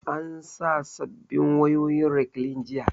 An sa sabbin wayoyin rekliin jiya